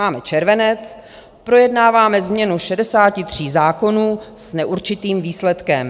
Máme červenec, projednáváme změnu 63 zákonů s neurčitým výsledkem.